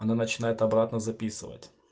она начинает обратно записывать